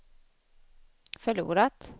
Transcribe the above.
förlorat